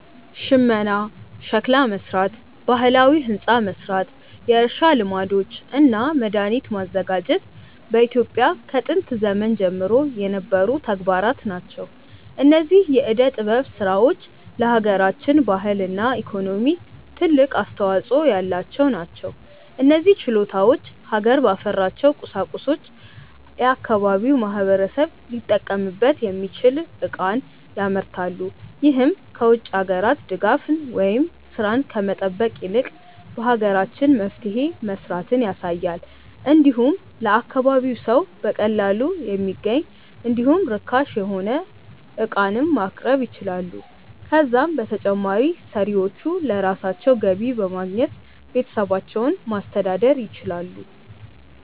ሽመና፣ ሸክላ መስራት፣ ባህላዊ ህንፃ መስራት፣ የእርሻ ልማዶች እና መድሃኒት ማዘጋጀት በኢትዮጵያ ከጥንት ዘመን ጀምሮ የነበሩ ተግባራት ናቸው። እነዚህ የዕደ ጥበብ ስራዎች ለሃገራችን ባህልና ኢኮኖሚ ትልቅ አስተዋጾ ያላቸው ናቸው። እነዚህ ችሎታዎች ሀገር ባፈራቸው ቁሳቁሶች የአካባቢው ማህበረሰብ ሊጠቀምበት የሚችል ዕቃን ያመርታሉ። ይህም ከ ውጭ ሀገራት ድጋፍን ወይም ስራን ከመጠበቅ ይልቅ በሀገራችን መፍትሄ መስራትን ያሳያል። እንዲሁም ለአካባቢው ሰው በቀላሉ የሚገኝ እንዲሁም ርካሽ የሆነ ዕቃንም ማቅረብ ይችላሉ። ከዛም በተጨማሪ ሰሪዎቹ ለራሳቸው ገቢ በማግኘት ቤተሰባቸውን ማስተዳደር ይችላሉ።